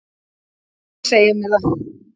Viltu segja mér það?